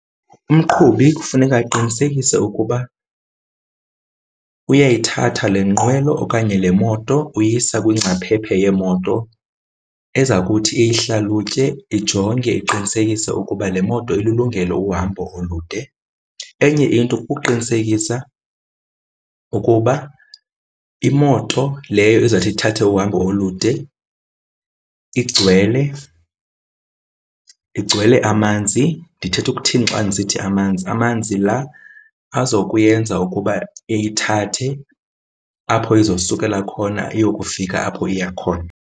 Umqhubi kufuneka aqinisekise ukuba uyayithatha le nkqwelo okanye le moto uyisa kwingcaphephe yemoto ezakuthi iyihlalutye, ijonge iqinisekise ukuba le moto ililungele uhambo olude. Enye into kuqinisekisa ukuba imoto leyo izawuthi ithathe uhambo olude igcwele, igcwele amanzi. Ndithetha ukuthini xa ndisithi amanzi? Amanzi la aza kuyenza ukuba iyithathe apho izosukela khona iyokufika apho iya khona.